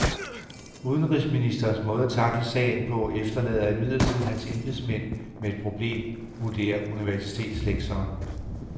Udenrigsministerens måde at tackle sagen på efterlader imidlertid hans embedsmænd med et problem, vurderer universitetslektoren.